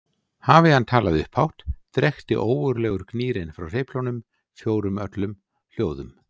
Hafi hann talað upphátt drekkti ógurlegur gnýrinn frá hreyflunum fjórum öllum hljóðum.